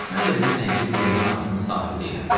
Mən də bilirsən ki, dilimin ağzımın sahibi deyiləm.